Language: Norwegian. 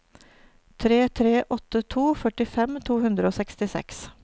tre tre åtte to førtifem to hundre og sekstiseks